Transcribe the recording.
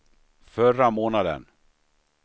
förra månaden